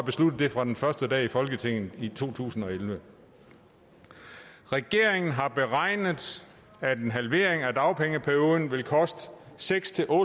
besluttet det fra den første dag i folketinget i to tusind og elleve regeringen har beregnet at en halvering af dagpengeperioden vil koste seks